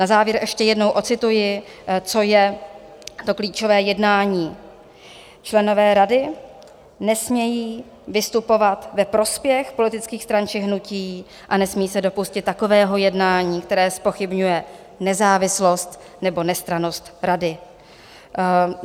Na závěr ještě jednou odcituji, co je to klíčové jednání: členové Rady nesmějí vystupovat ve prospěch politických stran či hnutí a nesmí se dopustit takového jednání, které zpochybňuje nezávislost nebo nestrannost Rady.